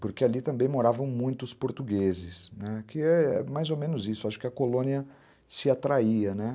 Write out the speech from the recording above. porque ali também moravam muitos portugueses, né, que é mais ou menos isso, acho que a colônia se atraía, né.